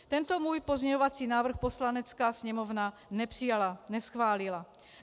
Tento můj pozměňovací návrh Poslanecká sněmovna nepřijala, neschválila.